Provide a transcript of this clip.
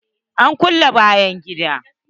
An kulle bayan gidan.